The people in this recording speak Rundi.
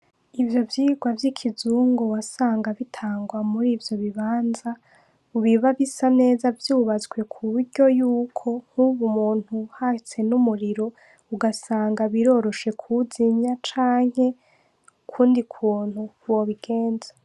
Ivyovyigwa vyikizungu wasanga bitangwa muri ivyobibanza biba bisa neza vyubatswe kuburyo yuko nkubu umuntu hatse numuriro ugasanga biroroshe kuwuzimya canke ukundi kuntu wobigenza